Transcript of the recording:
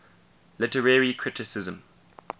literary criticism